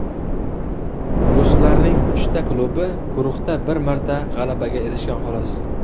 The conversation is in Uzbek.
Ruslarning uchta klubi guruhda bir marta g‘alabaga erishgan, xolos.